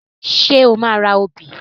Ṣé o máa ra obì?